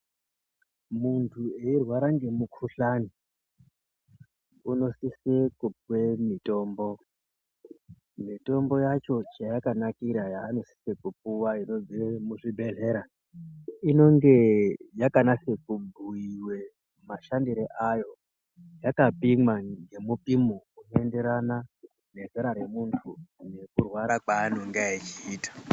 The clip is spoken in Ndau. Muntu eirwara ngemumuhlani unosise kupuwe mutombo. Mitombo yacho chayakanakira yaanosise kupuwa mizvibhedhlera inonge yakanatse kubhuyiwe mashandire ayo yakapimwa ngemupimo unoenderana nezera remuntu nekurwara kwaanenga echiita.